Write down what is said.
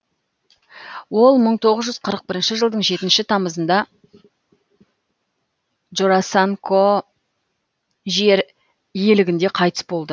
ол мың тоғыз жүз қырық бірінші жылдың жетінші тамызында джорасанко жер иелігінде қайтыс болды